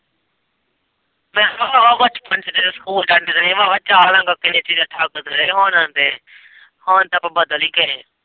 ਮੈਂ ਭਰਾਵਾਂ ਬਚਪਨ ਚ ਜਦੋਂ ਸਕੂਲ ਜਾਂਦੇ ਰਹੇ ਭਰਾਵਾਂ ਚਾਹ ਤੇ ਰੋਟੀ ਦਾ ਲੰਗਰ ਛੱਕਦੇ ਰਹੇ ਹੁਣ ਤੇ ਆਪਾਂ ਬਦਲ ਹੀ ਗਏ ਏ।